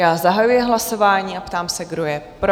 Já zahajuji hlasování a ptám se, kdo je pro?